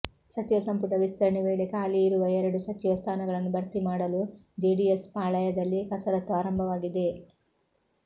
ಸಚಿವ ಸಂಪುಟ ವಿಸ್ತರಣೆ ವೇಳೆ ಖಾಲಿ ಇರುವ ಎರಡು ಸಚಿವ ಸ್ಥಾನಗಳನ್ನು ಭರ್ತಿ ಮಾಡಲು ಜೆಡಿಎಸ್ ಪಾಳಯದಲ್ಲಿ ಕಸರತ್ತು ಆರಂಭವಾಗಿದೆ